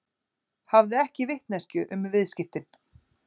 Hafði ekki vitneskju um viðskiptin